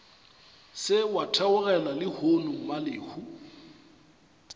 se wa theogela lehono mmalehu